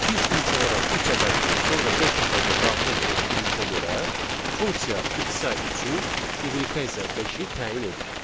Biz ilk olaraq üç ədədini, sonra beş ədədini daxil etdiyimizə görə funksiya x-a üçü, y-ə isə beşi təyin edir.